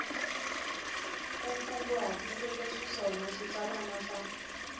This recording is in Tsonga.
u kunguhatiseke xiswona xitsalwana xa